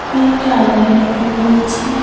ও একটা আলমারি লক্ষ্য করা যাচ্ছে।